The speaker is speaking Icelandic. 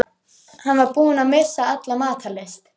Hann var búinn að missa alla matar lyst.